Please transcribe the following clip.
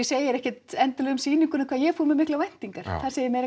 segi ekkert endilega eitthvað um sýninguna hvað ég fór með miklar væntingar það segir